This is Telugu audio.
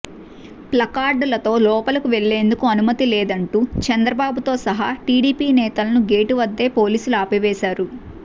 ప్లకార్డులతో లోపలకు వెళ్లేందుకు అనుమతి లేదంటూ చంద్రబాబుతో సహా టిడిపి నేతలను గేటు వద్దే పోలీసులు ఆపివేశారు